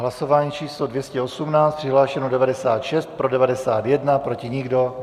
Hlasování číslo 218, přihlášeno 96, pro 91, proti nikdo.